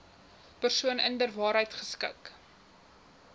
persoon inderwaarheid geskik